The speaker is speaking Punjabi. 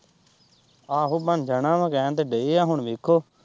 ਆਹੋ ਬਣ ਜਾਣਾ ਵਾ ਕਹਿਣ ਤਾਂ ਦਏ ਏ ਹੁਣ ਵੇਖੋ।